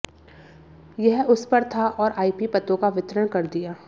यह उस पर था और आईपी पतों का वितरण कर दिया